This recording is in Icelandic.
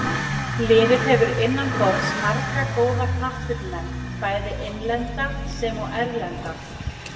Liðið hefur innanborðs marga góða knattspyrnumenn, bæði innlenda sem og erlenda.